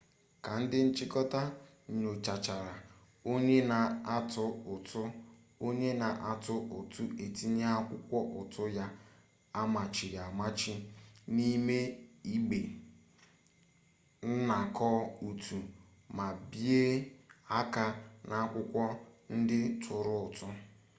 ka ndị nchịkọta nyochachara onye na-atụ ụtụ onye na-atụ ụtụ etinye akwụkwọ ụtụ ya amachiri amachi n'ime igbe nnakọ ụtụ ma bie aka n'akwụkwọ ndị tụrụ ụtụ